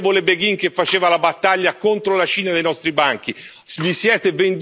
Dov'è l'onorevole Beghin che faceva la battaglia contro la Cina dai nostri banchi?